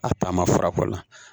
A taama fura kɔ la